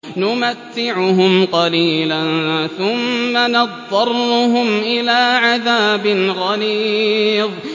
نُمَتِّعُهُمْ قَلِيلًا ثُمَّ نَضْطَرُّهُمْ إِلَىٰ عَذَابٍ غَلِيظٍ